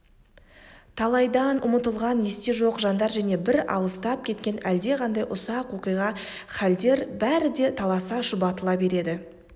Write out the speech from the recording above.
талайдан ұмытылған есте жоқ жандар және бір алыстап кеткен әлдеқандай ұсақ оқиға халдер бәрі де таласа шұбатыла береді